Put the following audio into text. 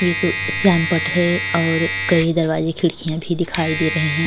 एक श्यामपट्ट है और कई दरवाजे खिड़कियां भी दिखाई दे रहे हैं।